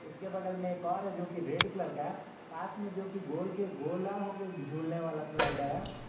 उसके बगल मे एक और है जोकि रेड कलर का है पास मे जोकि गोल के गोला होके झूलने वाला स्लाइड है।